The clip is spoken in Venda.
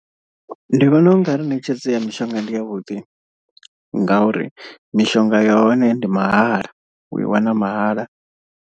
Ndi vhona u nga ri ṋetshedzo ya mishonga ndi yavhuḓi ngauri mishonga yahone ndi mahala u i wana mahala.